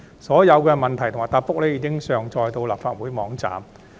所有質詢及答覆已上載到立法會網站。